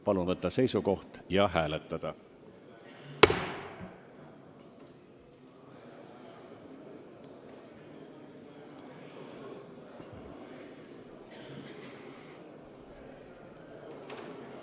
Palun võtta seisukoht ja hääletada!